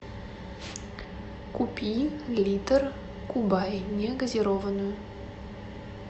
купи литр кубай негазированную